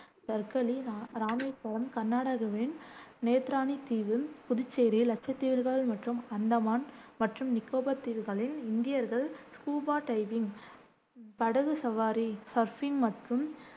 தர்கர்லி ரா ராமேஸ்வரம், கர்நாடகாவின் நேத்ராணி தீவு, புதுச்சேரி, லட்சத்தீவுகள் மற்றும் அந்தமான் மற்றும் நிகோபார் தீவுகளில் இந்தியர்கள் ஸ்கூபா டைவிங், படகு சவாரி, சர்ஃபிங் மற்றும்